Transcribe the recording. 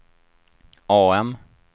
AM